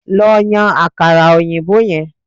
Lo yan àkàrà òyìnbó yen